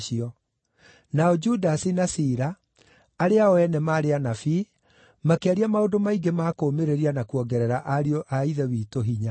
Nao Judasi na Sila, arĩa o ene maarĩ anabii, makĩaria maũndũ maingĩ ma kũũmĩrĩria na kuongerera ariũ a Ithe witũ hinya.